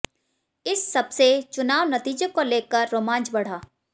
इस सबसे चुनाव नतीजों को ले कर रोमांच बढ़ा